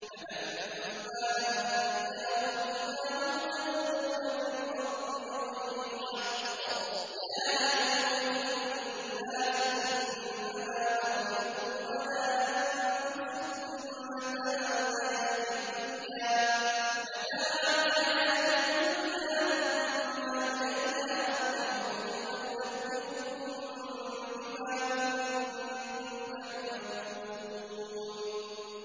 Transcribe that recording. فَلَمَّا أَنجَاهُمْ إِذَا هُمْ يَبْغُونَ فِي الْأَرْضِ بِغَيْرِ الْحَقِّ ۗ يَا أَيُّهَا النَّاسُ إِنَّمَا بَغْيُكُمْ عَلَىٰ أَنفُسِكُم ۖ مَّتَاعَ الْحَيَاةِ الدُّنْيَا ۖ ثُمَّ إِلَيْنَا مَرْجِعُكُمْ فَنُنَبِّئُكُم بِمَا كُنتُمْ تَعْمَلُونَ